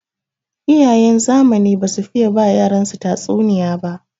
Iyayen zamani basu fiye ba yaransu tatsuniya ba.